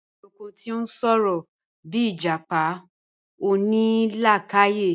Awọn èrànko tí n sọ̀rọ̀, bíì ijápá onílàkàyè